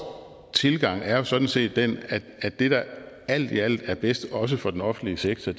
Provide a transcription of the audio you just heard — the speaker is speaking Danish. tilgang er jo sådan set den at det der alt i alt er bedst også for den offentlige sektor